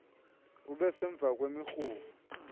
ube semva ngemirhumo